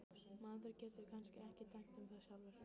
Maður getur kannski ekki dæmt um það sjálfur.